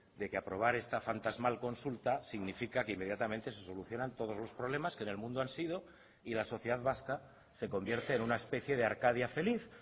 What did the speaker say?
de que aprobar esta fantasmal consulta significa que inmediatamente se solucionan todos los problemas que en el mundo han sido y la sociedad vasca se convierte en una especie de arcadia feliz